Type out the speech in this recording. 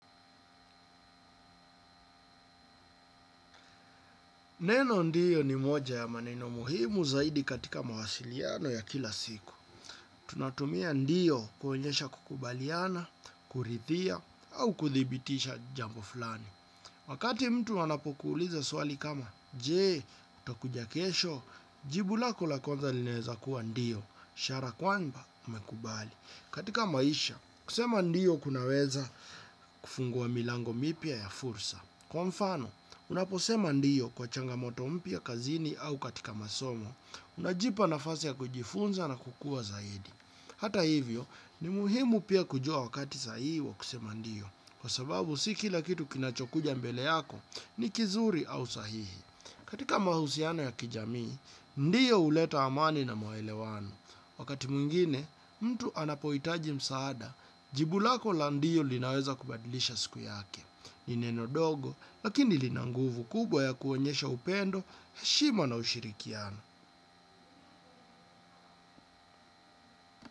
Neno ndiyo ni moja ya maneno muhimu zaidi katika mawasiliano ya kila siku. Tunatumia ndiyo kuoenyesha kukubaliana, kurithia, au kuthibitisha jambo flani. Wakati mtu anapokuuliza swali kama, je, utakuja kesho? Jibu lako la kwanza linaeza kuwa ndiyo, ishara kwamba umekubali. Katika maisha, kusema ndiyo kunaweza kufungua milango mipya ya fursa. Kwa mfano, unaposema ndiyo kwa changamoto mpya kazini au katika masomo, unajipa na fasi ya kujifunza na kukua zaidi. Hata hivyo, ni muhimu pia kujua wakati sahihi wa kusema ndiyo, kwa sababu si kila kitu kinachokuja mbele yako ni kizuri au sahihi. Katika mahusiano ya kijamii, ndiyo huleta amani na maelewano. Wakati mwingine, mtu anapohitaji msaada, jibu lako la ndiyo linaweza kubadilisha siku yake. Ni neno dogo, lakini linanguvu kubwa ya kuonyesha upendo, heshima na ushirikiano.